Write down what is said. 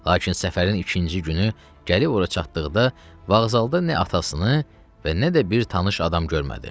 Lakin səfərin ikinci günü gəlib ora çatdıqda vağzalda nə atasını, və nə də bir tanış adam görmədi.